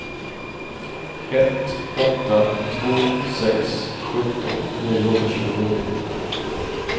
ett åtta två sex sjutton niohundratjugonio